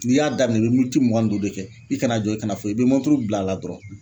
N'i y'a daminɛ i bɛ miniti mugan ni duuru de kɛ i kana jɔ i kana foyi i bɛ mɔnturu bil'a la dɔrɔn.